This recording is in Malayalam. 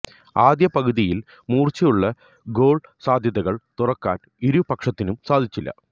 ആദ്യ പകുതിയില് മൂര്ച്ചയുള്ള ഗോള് സാധ്യതകള് തുറക്കാന് ഇരു പക്ഷത്തിനും സാധിച്ചില്ല